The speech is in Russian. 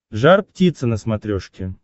жар птица на смотрешке